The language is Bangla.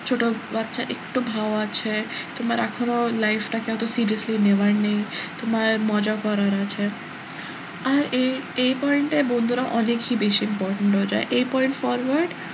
ছোট বাচ্চা একটু ভাউ আছে কিংবা এখনো life টাকে অত seriously নেওয়ার নেই তোমার মজা করার আছে আর এই এই point এ বন্ধুরা অনেকই বেশি important হয়ে যায় এই point forward